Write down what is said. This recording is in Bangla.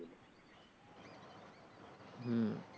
হম